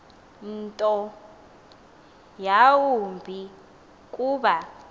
nto yawumbi kuba